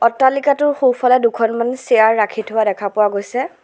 অট্টালিকাটোৰ সোঁফালে দুখনমান চিয়াৰ ৰাখি থোৱা দেখা পোৱা গৈছে।